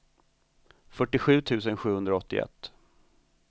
fyrtiosju tusen sjuhundraåttioett